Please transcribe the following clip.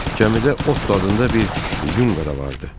Cəmidə Ott adında bir yunga da vardı.